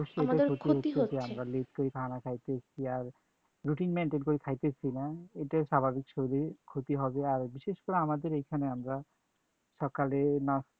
ক্ষতি হচ্ছে যে আমরা late করে খানা খাইতেছি আর routine maintain করে খাইতেছি না এটাই স্বাভাবিক শরীরে ক্ষতি হবে আর বিশেষ করে আমাদের এইখানে আমরা সকালে নাস্তা